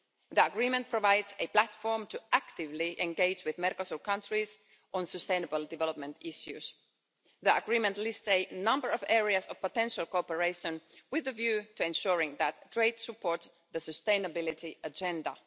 The agreement provides a platform to actively engage with Mercosur countries on sustainable development issues. The agreement lists a number of areas of potential cooperation with a view to ensuring that trade supports the sustainability agenda.